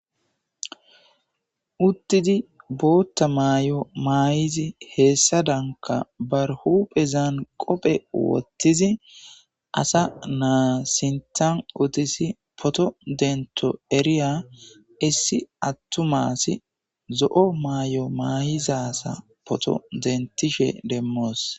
Uttidi bottaa mayo mayidi heesadanikka bari huphesan qophphe wotidi asa na'a utis photo denito eriya issi atuma asi zo'o mayo mayid asa poto denitishe demosi.